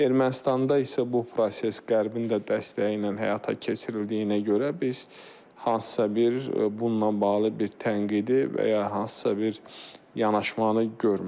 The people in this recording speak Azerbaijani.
Ermənistanda isə bu proses Qərbin də dəstəyi ilə həyata keçirildiyinə görə biz hansısa bir bununla bağlı bir tənqidi və ya hansısa bir yanaşmanı görmürük.